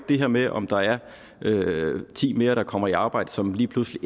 det her med om der er ti mere der kommer i arbejde som lige pludselig